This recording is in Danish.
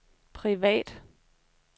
privat